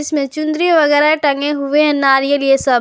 में चुनरी वगैरा टंगे हुए नारियल ये सब--